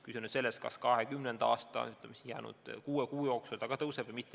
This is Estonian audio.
Küsimus on selles, kas see juba 2020. aasta allesjäänud kuue kuu jooksul tõuseb.